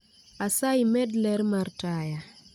Asayi med ler mar taya